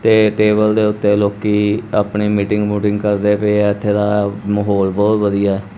ਤੇ ਟੇਬਲ ਦੇ ਓੱਤੇ ਲੋਕੀ ਆਪਣੇ ਮੀਟਿੰਗ ਮੁਟਿੰਗ ਕਰਦੇ ਪਏਆ ਇੱਥੇ ਦਾ ਮਾਹੌਲ ਬਹੁਤ ਵਧੀਆ ਹੈ।